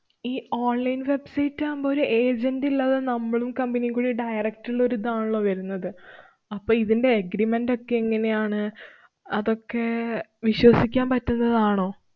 ഈ online website ആവുമ്പോ ഒരു agent ഇല്ലാതെ നമ്മളും, company നീം കൂടി direct ഉള്ളൊരു ദാണല്ലോ വരുന്നത്. അപ്പൊ ഇതിന്‍റെ agreement ക്കെ എങ്ങനെയാണ്? അതൊക്കെ വിശ്വസിക്കാന്‍ പറ്റുന്നതാണോ?